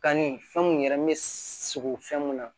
Kanni fɛn mun yɛrɛ bɛ sogo fɛn mun na